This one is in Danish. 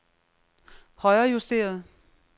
højrejusteret